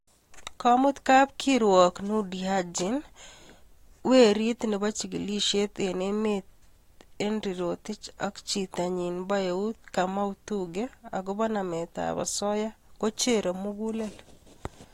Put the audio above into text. Komut kapkirwok Noordin Haji, bro nebo chigilisiet eng emet Henry rotich ak chinyi bo eut kamau thugge agobo nametab osoya kocherei mugulel